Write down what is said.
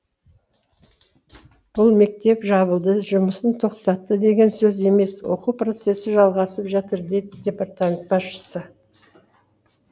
бұл мектеп жабылды жұмысын тоқтатты деген сөз емес оқу процесі жалғасып жатыр деді департамент басшысы